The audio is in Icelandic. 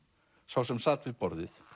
sá sem sat við borðið